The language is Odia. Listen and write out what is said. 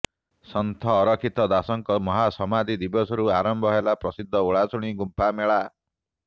ସନ୍ଥ ଅରକ୍ଷିତ ଦାସଙ୍କ ମହାସମାଧି ଦିବସରୁ ଆରମ୍ଭ ହେଲା ପ୍ରସିଦ୍ଧ ଓଳାଶୁଣୀ ଗୁମ୍ଫା ମେଳା